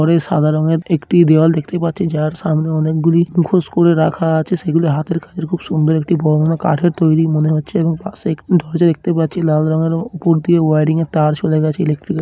ওপরে সাদা রঙের একটি দেওয়াল দেখতে পাচ্ছি। যার সামনে অনেকগুলি মুখোশ করে রাখা আছে। সেগুলি হাতের কাজের খুব সুন্দর একটি বর্ণনা। কাঠের তৈরি মনে হচ্ছে এবং পাশে একটি দরজা দেখতে পাচ্ছি। লাল রঙের ও উপর দিয়ে ওয়ারিং এর তার চলে গেছে ইলেকট্রিকের ।